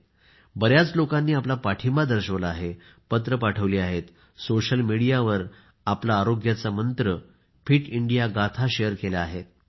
बऱ्याच लोकांनी पत्र लिहून आपला पाठिंबा दर्शविला आहे पत्र पाठविली आहेत सोशल मिडीयावर आपला आरोग्याचा मंत्र फिट इंडिया गाथा शेअर केल्या आहेत